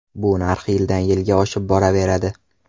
Bu narx yildan yilga oshib boraveradi.